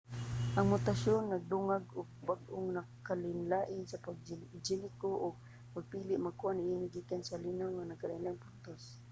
ang mutasyon nagdungag og bag-ong pagkalainlain sa genetiko ug ang pagpili magkuha niini gikan sa linaw nga nagkalainlaing puntos